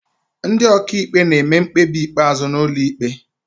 Ndị ọkàikpe na-eme mkpebi ikpeazụ n'ụlọ ikpe